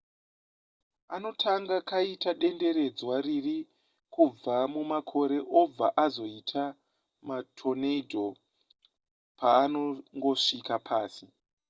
anotanga kaita denderedzwa riri kubva mumakore obva azoita matornado paanongosvika pasi